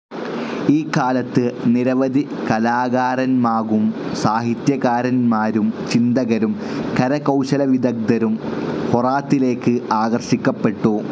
ഈക്കാലത്ത് നിരവധി കലാകാരന്മാകും സാഹിത്യകാരന്മാരും ചിന്തകരും കരകൌശലവിദഗ്ദ്ധരും ഹോറാത്തിലേക്ക് ആകർഷിക്കപ്പെട്ടു.